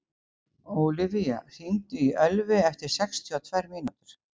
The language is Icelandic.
Ólivía, hringdu í Ölvi eftir sextíu og tvær mínútur.